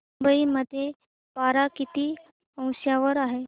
मुंबई मध्ये पारा किती अंशावर आहे